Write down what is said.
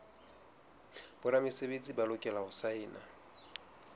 boramesebetsi ba lokela ho saena